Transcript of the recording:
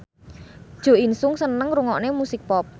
Jo In Sung seneng ngrungokne musik pop